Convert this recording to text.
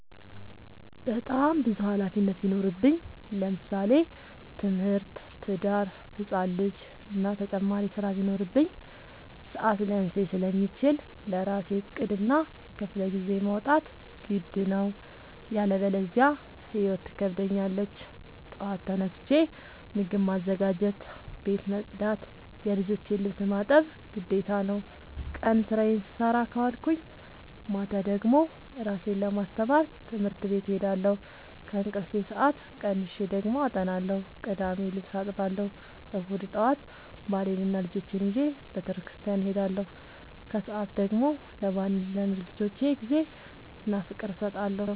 በጣም ብዙ ሀላፊነት ቢኖርብኝ ለምሳሌ፦ ትምህርት፣ ትዳር፣ ህፃን ልጂ እና ተጨማሪ ስራ ቢኖርብኝ። ሰዐት ሊያንሰኝ ስለሚችል ለራሴ ዕቅድ እና ክፍለጊዜ ማውጣት ግድ ነው። ያለበዚያ ህይወት ትከብደኛለች ጠዋት ተነስቼ ምግብ ማዘጋጀት፣ ቤት መፅዳት የልጆቼን ልብስ ማጠብ ግዴታ ነው። ቀን ስራዬን ስሰራ ከዋልኩኝ ማታ ደግሞ እራሴን ለማስተማር ትምህርት ቤት እሄዳለሁ። ከእንቅልፌ ሰአት ቀንሼ ደግሞ አጠናለሁ ቅዳሜ ልብስ አጥባለሁ እሁድ ጠዋት ባሌንና ልጆቼን ይዤ በተስኪያን እሄዳለሁ። ከሰዓት ደግሞ ለባሌና ለልጆቼ ጊዜ እና ፍቅር እሰጣለሁ።